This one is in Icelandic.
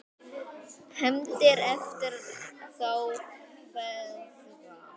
HEFNDIR EFTIR ÞÁ FEÐGA